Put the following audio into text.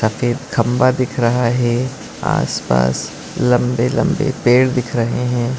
सफ़ेद खंबा दिख रहा है आस पास लंबे लंबे पेड़ दिख रहे है।